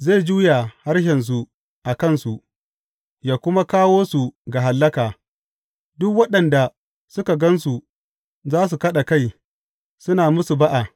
Zai juya harshensu a kansu yă kuma kawo su ga hallaka; duk waɗanda suka gan su za su kaɗa kai, suna musu ba’a.